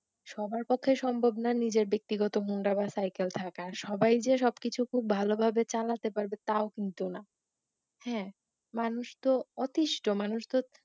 সবার পক্ষে সম্ভব নয় নিজের ব্যাক্তিগত হোন্ডা বা সাইকেল থাকা, সবাই যে সুবকিছু খুব ভালোভাবে চালাতে পারবে তাও কিন্তু না হ্যাঁ মানুষ তো অতিষ্ট মানুষ তো